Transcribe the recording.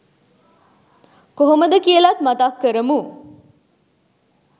කොහොමද කියලත් මතක් කරමු?